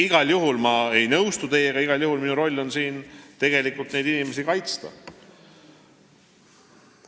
Igal juhul ei nõustu ma teiega, igal juhul on minu roll neid inimesi kaitsta.